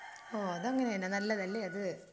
ഓ അത് അങ്ങനെ നെ നല്ലതല്ലേ അത്?